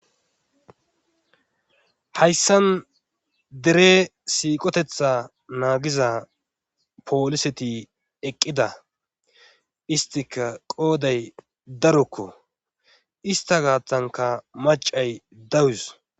hayssan dere siiqotetha naagiza pooliseti eqqida istika qooday darokko ista gaattanka macay dawus